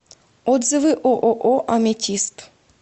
отзывы ооо аметист